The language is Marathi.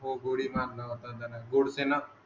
हो गोळी मारला होता त्यांना गोडसेन